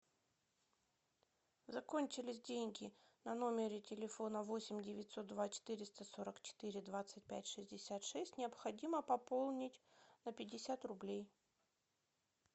закончились деньги на номере телефона восемь девятьсот два четыреста сорок четыре двадцать пять шестьдесят шесть необходимо пополнить на пятьдесят рублей